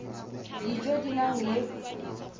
dijo tse di nang le